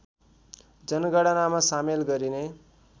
जनगणनामा सामेल गरिने